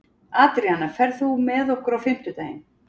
Adríana, ferð þú með okkur á fimmtudaginn?